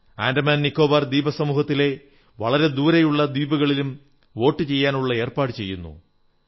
ആൻഡമാൻ നിക്കോബാർ ദ്വീപുസമൂഹത്തിലെ വളരെ ദൂരെയുള്ള ദ്വീപുകളിലും വോട്ടു ചെയ്യാനുള്ള ഏർപ്പാടു ചെയ്യുന്നു